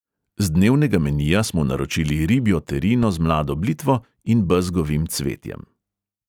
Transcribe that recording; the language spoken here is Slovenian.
Z dnevnega menija smo naročili ribjo terino z mlado blitvo in bezgovim cvetjem.